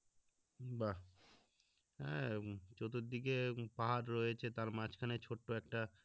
বা আহ চতুর্দিকে পাহাড় রয়েছে তার মাঝখানে ছোট্ট একটা